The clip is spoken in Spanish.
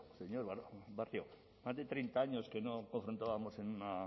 eskerrik asko presidente andrea señor barrio más de treinta años que no confrontábamos en una